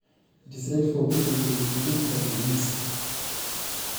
Kenare neyiolou ltung'ana ilpurisho